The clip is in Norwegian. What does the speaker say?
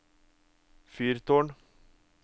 fyrtårn